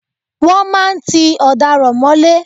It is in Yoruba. Wọ́n máa ń tí ọ̀daràn mọ́lé.